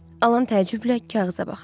Alan təəccüblə kağıza baxdı.